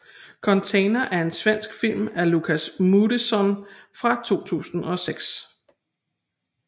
Container er en svensk film af Lukas Moodysson fra 2006